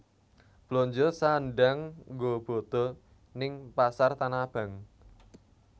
Blonjo sandhang nggo bodo ning Pasar Tanah Abang